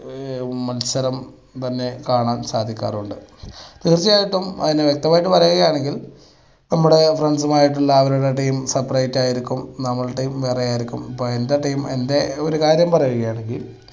മത്സരം തന്നെ കാണാൻ സാധിക്കാറുണ്ട്. തീർച്ചായായിട്ടും അതിന് വ്യക്തമായിട്ട് പറയുകയാണെങ്കിൽ, നമ്മുടെ friends മായിട്ടുള്ള അവരുടെ team separate ആയിരിക്കും നമ്മുടെയും വേറെയായിരിക്കും അപ്പൊ എൻ്റെ team എൻ്റെ ഒരു കാര്യം പറയുകയാണെങ്കിൽ